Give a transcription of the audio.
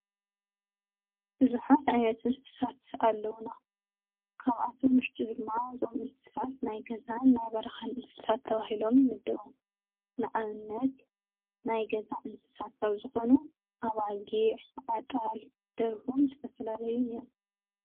ብዙሓት እንስሳት ኣለዉና ።ካብኣቶም ውሽጢ ድማ እዞም እንስሳት ናይ ገዛን ናይ በረካን እንስሳት ተባሂሎም ይምደቡ። ንኣብነት ፦ናይ ገዛ እንስሳት ዝኮኑ ኣባጊዕ፣ ኣጣል፣ ደርሁን ዝተፈላለዩን እዩም።